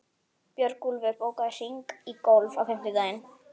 Björgúlfur, bókaðu hring í golf á fimmtudaginn.